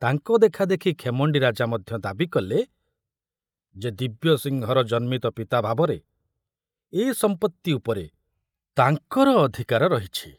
ତାଙ୍କ ଦେଖାଦେଖି ଖେମଣ୍ଡି ରାଜା ମଧ୍ୟ ଦାବି କଲେ ଯେ ଦିବ୍ୟସିଂହର ଜନ୍ମିତ ପିତା ଭାବରେ ଏ ସମ୍ପତ୍ତି ଉପରେ ତାଙ୍କର ଅଧିକାର ରହିଛି।